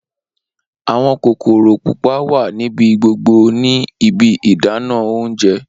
Awọn kokoro pupa wa nibi gbogbo ni ibi ìdáná oúnjẹ.